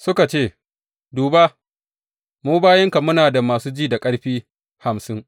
Suka ce, Duba, mu bayinka muna da masu ji da ƙarfi hamsin.